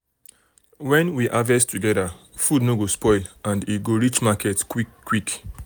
when we harvest together food no um go spoil and e go reach market quick quick.